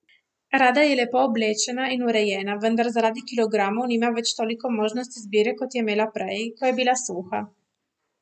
Rada je lepo oblečena in urejena, vendar zaradi kilogramov nima več toliko možnosti izbire kot jo je imela prej, ko je bila suha.